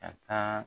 Ka taa